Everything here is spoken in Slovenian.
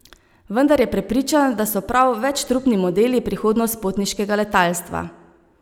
Vendar je prepričan, da so prav večtrupni modeli prihodnost potniškega letalstva.